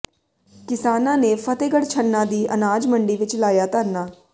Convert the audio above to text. ਕਿਸਾਨਾ ਨੇ ਫਤਿਹਗੜ੍ਹ ਛੰਨਾ ਦੀ ਅਨਾਜ ਮੰਡੀ ਵਿੱਚ ਲਾਇਆ ਧਰਨਾ